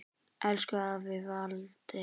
Elsku afi Walter.